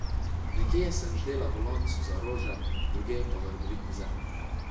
Nekje sem ždela v loncu za rože, drugje pa v rodovitni zemlji.